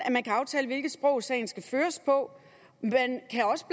at hvilket sprog sagen skal føres på man kan også